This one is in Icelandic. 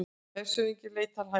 Hershöfðingi leitar hælis